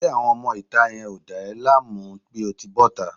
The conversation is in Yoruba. Ṣé àwọn ọmọ ìta yẹn ò dá ẹ láàmú bí o ti bọ́ta?